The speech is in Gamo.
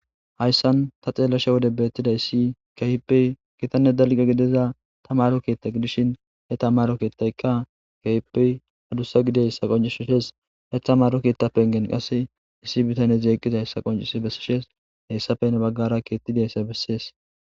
Hayssan ta xeellasha wode beettida issi kehippey kitanne dalga gideza tamaro keetta gidishin he tamaro keettaykka keheppey hadussa gideyssa qoncishoshes hethamaro keettapen gen qasse issi bitane jeeqqiza hessa qoncis bessishes heyssapene baggara keettidayssa bessees.